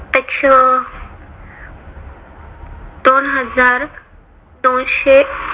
अच्छा दोन हजार दोनशे